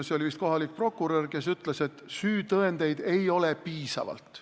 See oli vist kohalik prokurör, kes ütles, et süütõendeid ei ole piisavalt.